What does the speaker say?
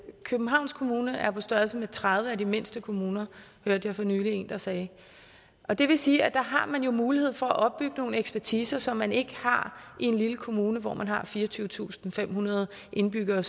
københavns kommune er på størrelse med tredive af de mindste kommuner hørte jeg for nylig en der sagde og det vil sige at der har man jo mulighed for at opbygge noget ekspertise som man ikke har i en lille kommune hvor man har fireogtyvetusinde og femhundrede indbyggere